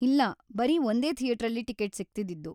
ಇಲ್ಲ, ಬರೀ ಒಂದೇ ಥಿಯೇಟ್ರಲ್ಲಿ ಟಿಕಿಟ್‌ ಸಿಗ್ತಿದ್ದಿದ್ದು.